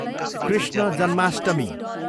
Krishna Janmashtami